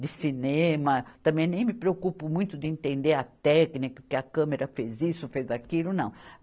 de cinema, também nem me preocupo muito de entender a técnica, porque a câmera fez isso, fez aquilo, não.